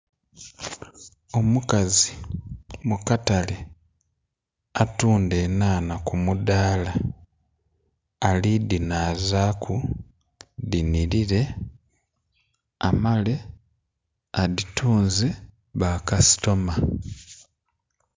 Omukazi mu katale atundha enhanha ku mudhala ali dhinhazaku dhi nhilile amale adhitunze bakasitoma.